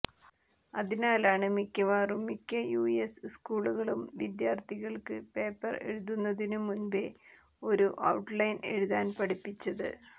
അതിനാലാണ് മിക്കവാറും മിക്ക യുഎസ് സ്കൂളുകളും വിദ്യാർത്ഥികൾക്ക് പേപ്പർ എഴുതുന്നതിനു മുൻപേ ഒരു ഔട്ട്ലൈൻ എഴുതാൻ പഠിപ്പിച്ചത്